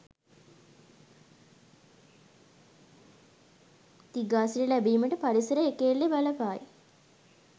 දිගාසිරි ලැබීමට පරිසරය එකඑල්ලේ බලපායි.